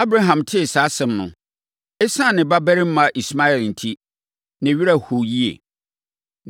Abraham tee saa asɛm no, ɛsiane ne babarima Ismael enti, ne werɛ hoo yie.